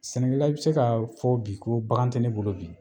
Sɛnɛkɛla i be se ka fɔ bi ko bagan ti ne bolo bi